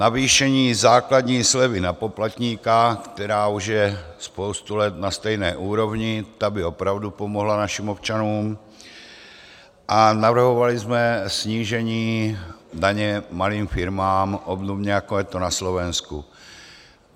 Navýšení základní slevy na poplatníka, která už je spoustu let na stejné úrovni, ta by opravdu pomohla našim občanům, a navrhovali jsme snížení daně malým firmám, obdobně jako je to na Slovensku.